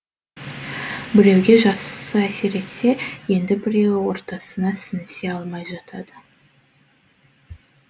біреуге жақсы әсер етсе енді біреуі ортасына сіңісе алмай жатады